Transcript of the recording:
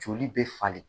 Joli bɛ falen